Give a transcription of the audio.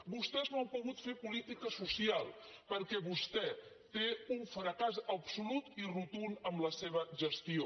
vostès no han pogut fer política social perquè vostè té un fracàs absolut i rotund en la seva gestió